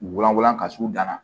U wlankolon ka s'u na